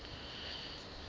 john james audubon